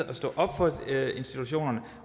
at stå op for institutionerne